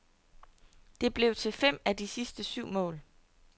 Det blev til fem af de sidste syv mål.